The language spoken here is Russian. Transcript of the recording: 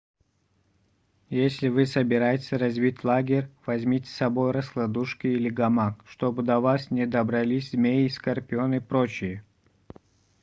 если вы собираетесь разбить лагерь возьмите с собой раскладушку или гамак чтобы до вас не добрались змеи скорпионы и прочие